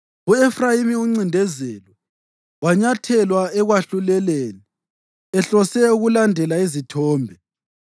U-Efrayimi uncindezelwe, wanyathelwa ekwahluleleni, ehlose ukulandela izithombe.